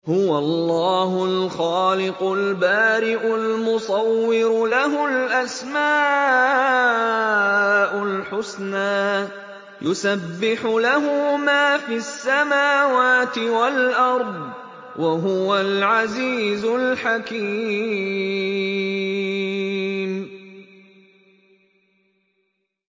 هُوَ اللَّهُ الْخَالِقُ الْبَارِئُ الْمُصَوِّرُ ۖ لَهُ الْأَسْمَاءُ الْحُسْنَىٰ ۚ يُسَبِّحُ لَهُ مَا فِي السَّمَاوَاتِ وَالْأَرْضِ ۖ وَهُوَ الْعَزِيزُ الْحَكِيمُ